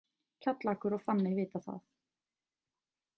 Kjallakur og Fanney vita það.